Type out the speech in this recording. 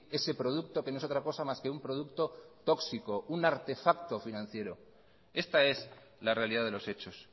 ese producto que no es otra cosa más que un producto tóxico un artefacto financiero esta es la realidad de los hechos